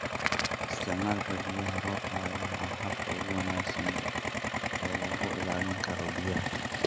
Isticmaalka biyaha roobka ayaa ah habka ugu wanaagsan ee lagu ilaalin karo biyaha.